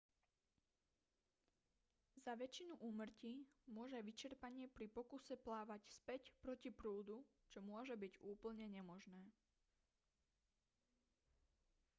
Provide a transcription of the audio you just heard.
za väčšinu úmrtí môže vyčerpanie pri pokuse plávať späť proti prúdu čo môže byť úplne nemožné